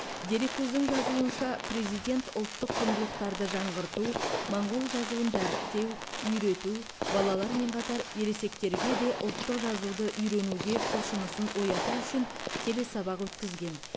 дереккөздің жазуынша президент ұлттық құндылықтарды жаңғырту моңғол жазуын дәріптеу үйрету балалармен қатар ересектерге де ұлттық жазуды үйренуге құлшынысын ояту үшін телесабақ өткізген